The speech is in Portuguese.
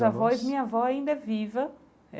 Meus avós, minha avó ainda é viva é.